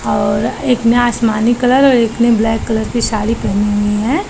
और एक ने आसमानी कलर और एक ने ब्लैक कलर की साड़ी पेहनी हुई है।